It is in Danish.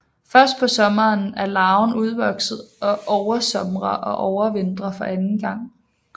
Først på sommeren er larven udvokset og oversomrer og overvintrer for anden gang